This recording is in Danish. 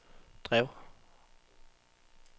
drev